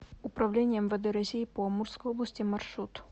управление мвд россии по амурской области маршрут